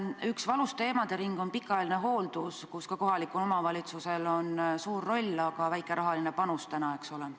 Üks valus teemadering on pikaajaline hooldus, milles ka kohalikul omavalitsusel on suur roll, aga nende rahaline panus on täna väike, eks ole.